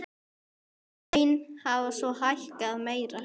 Laun hafa svo hækkað meira.